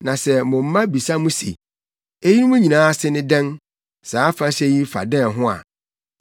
Na sɛ mo mma bisa mo se, ‘Eyinom nyinaa ase ne dɛn; saa afahyɛ yi fa dɛn ho a,